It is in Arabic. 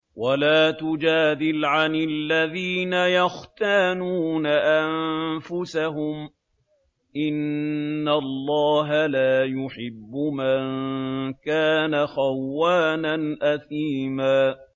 وَلَا تُجَادِلْ عَنِ الَّذِينَ يَخْتَانُونَ أَنفُسَهُمْ ۚ إِنَّ اللَّهَ لَا يُحِبُّ مَن كَانَ خَوَّانًا أَثِيمًا